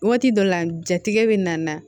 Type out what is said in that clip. Waati dɔ la jatigɛ bɛ na